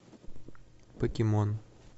покемон